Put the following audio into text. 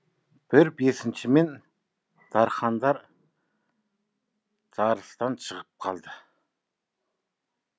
бір бесінші мен дархандар жарыстан шығып қалды